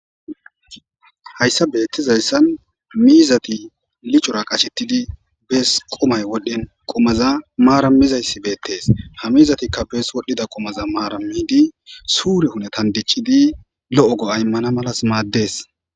Hayssa bettizayssan miizati lichora qashettidi bees qomay wodhen qomaza maarammizayssi beettees ha mizatikka bees wodhdhida qomaza maarammidi suure hunetan dichidi lo7o go aymmana malas maaddees